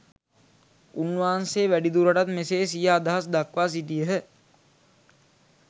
උන්වහන්සේ වැඩිදුරටත් මෙසේ සිය අදහස්‌ දක්‌වා සිටියහ